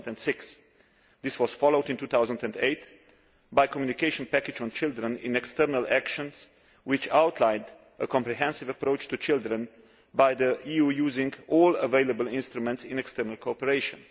2006. This was followed in 2008 by the communication package on children in external actions, which outlined a comprehensive approach to children by the EU using all available instruments in external cooperation.